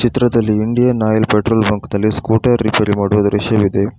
ಚಿತ್ರದಲ್ಲಿ Indian oil petrol bunk ದಲ್ಲಿ scooter repair ಮಾಡುವ ದೃಶ್ಯವಿದೆ.